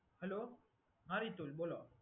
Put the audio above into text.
Hello, હા રીતુલ બોલો.